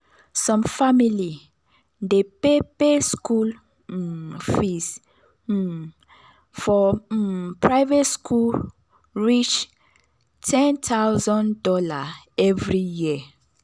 some family dey pay pay school um fees um for um private school reach $10k every year